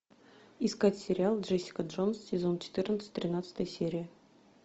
искать сериал джессика джонс сезон четырнадцать тринадцатая серия